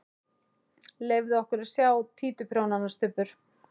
Leyfðu okkur að sjá títuprjónana, Stubbur!